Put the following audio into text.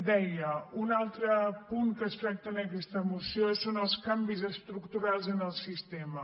deia un altre punt que es tracta en aquesta moció són els canvis estructurals en el sistema